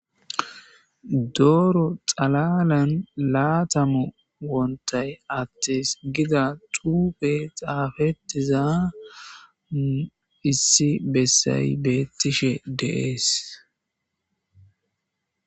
Doro xalalan 20 wontay ates giza xufey xafetiza issi besay betishe de'es.